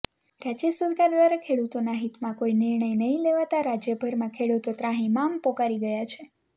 રાજ્ય સરકાર દ્વારા ખેડૂતોના હિતમાં કોઈ નિર્ણય નહીં લેવાતાં રાજ્યભરમાં ખેડૂતો ત્રાહિમામ પોકારી ગયા છે